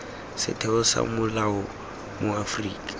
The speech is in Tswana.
setheo sa semolao mo aforika